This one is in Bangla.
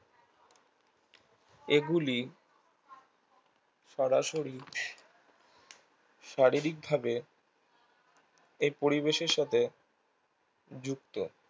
এগুলি সরাসুরি শারীরিক ভাবে এই পরিবেশের সাথে যুক্ত